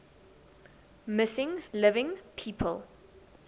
missing living people